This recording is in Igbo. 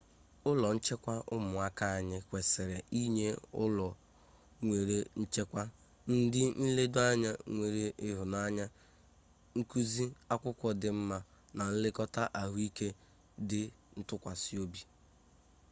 ụlọ nchekwa ụmụaka anyị kwesịrị inye ụlọ nwere nchekwa ndị nledo anya nwere ịhụnanya nkụzi akwụkwọ dị mma na nlekọta ahụike dị ntụkwasịobi